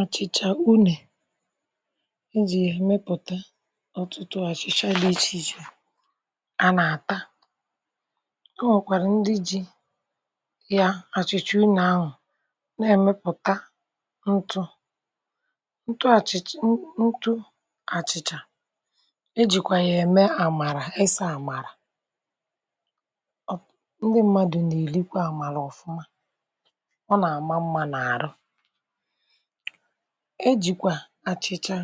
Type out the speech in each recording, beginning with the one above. Òké ọ́kà ì jì na-èmepụta ọ̀tụ̀tụ̀ ǹdị̀ ntụ̀ ntụ̀ dị iche iche, nke a na-eji eme àchị́chá. Ọ́ na-èmekwa ntụ̀ ọ́kà nke ǹdí mmadụ jì esi àchị́chá, kwàdèbé nri nta, mee nri ùtọ́. Sìté n’ọ́kà a na-ènwetakwá starch um, nke ǹdí mmadụ jì esi nri, ma ọ̀ bụ́ ezigbo nri maka ụmụ́àkà. A na-eji starch akpọrọ́kwá pap nke ụmụ́àkà na-èrí, ma ọ̀ na-ènyékwà ha nri nke na-ènyére hà aka ịtọ́ mma nke ọma. A na-èmekwa ka ọ́kà bụrụ́ fùfù nke ǹdí mmadụ na-èrí dị̀kà nri. A na-eji ya emekwa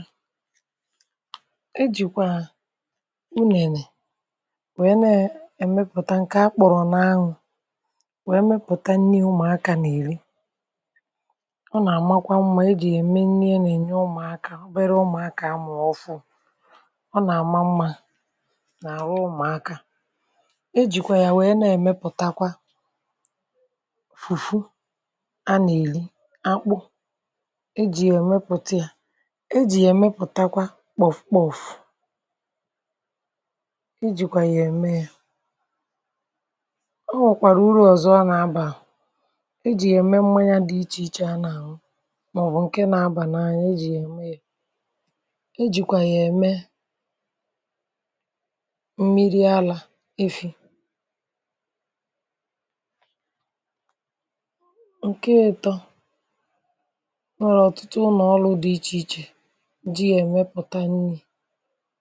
kpòkpò gàrì. Ọ́kà nwekwara ùrù ǹdị̀ ọzọ. um A na-eji ya ēmepụta mmányà dị iche iche, ọbụ̀na mmányà siri ike. Sìté n’ọ́kà a, a na-ènwetakwá mmírí ọ́kà nke bàrà uru n’ụlọ̀ ǹdí mmadụ, a na-ènyékwà ya ụmụ́ànụ̀mànụ̀ dị̀kà nri. Ọ́kà nwekwara ike ínyé ụmụ́nwànyì ọrụ́. Ọ́ na-ènyé ọrụ́ ebe a na-èré ma ọ̀ bụ́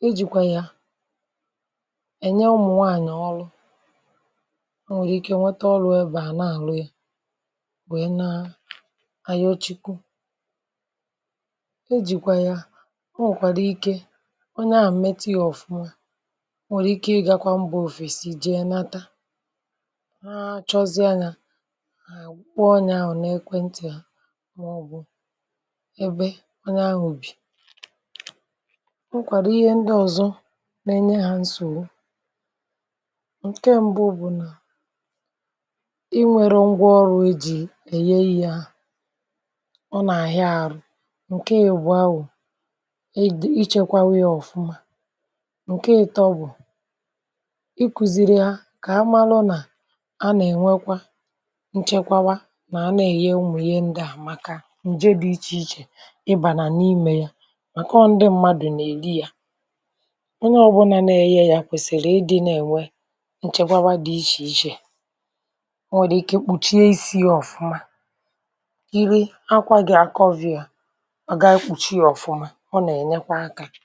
na-èmepụta ya. Onye ọ́bụ́la jiri ọ́kà meé ihe nke ọma nwere ike inweta égo um, guzòbé azụ́mahịa, ma jikọọ́kwà ǹdí ọzọ sīté n’èk̀wèntì ma ọ̀ bụ́ ụzọ ǹdị̀ ọzọ. Ìhè mbù dị̀ mkpa bụ́ na ì kwesìrì ịnwe ngwà ọrụ́ zíri ezi iji gụọ́ ọ́kà ka ì wé nwee ike ịmepụta íhè dị iche iche. Ọ̀ dị̀kwá mkpa ka e chekwáá ya nke ọma ka ọ̀ ghàrà ịrápàrà ngwa ngwa. Ǹdí mmadụ kwesìrì ịmụ̀tà ka esi èjikwa ya um, n’ihi na onye ọ́bụ́la mere nke a gà-ènweta ùrù nke ukwu. N’íkpéazụ́, a ghàrà ikpùchíe ọ́kà nke ọma ma chekwáá ya, n’ihi na ọ̀ bụrụ́ na e hapụ̀ ya kpamkpam, ọ̀ nwere ike ịrápàrà. um Ma ọ̀ bụrụ́ na e chekwáá ya nke ọma, ọ̀ na-ènyé ọ̀tụ̀tụ̀ ùrù bàrà ezigbo uru.